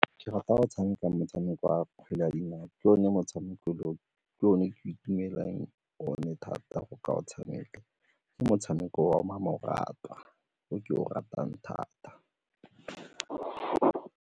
Ke rata go tshameka motshameko wa kgwele ya dinao, ke one motshameko o ke o ne ke itumelela one thata go ka o tshameka ke motshameko wa mmamoratwa o ke o ratang thata.